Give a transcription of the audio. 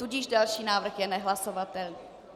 Tudíž další návrh je nehlasovatelný.